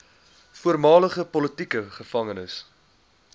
voormalige politieke gevangenes